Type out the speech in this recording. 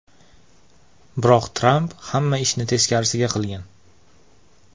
Biroq Tramp hamma ishni teskarisiga qilgan.